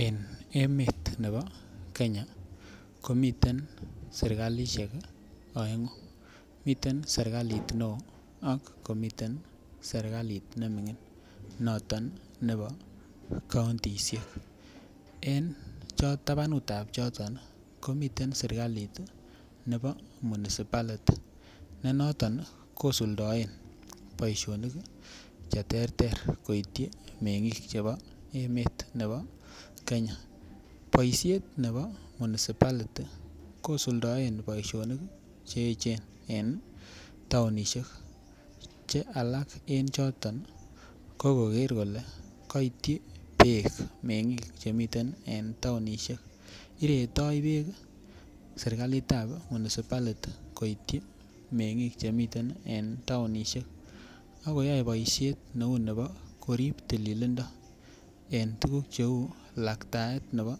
En emet nebo Kenya komiten serkalisiek oengu miten serkaliit neo ak komiten serkalit nemingin noton nebo kauntisiek en tabanut ab choton komiten serkalit nebo municipality ne noton kosuldaen boisinik Che terter koityi mengik chebo emet nebo Kenya boisiet nebo municipality kosuldaen boisinik Che echen en taonisiek Che alak en choton ko koger kole kaityi bek mengik Che miten en taonisiek iretoi bek serkalit ab municipality koityi mengik Che miten en taonisiek ak koyoe boisiet neu nebo korib tililindo en tuguk Cheu laktaet nebo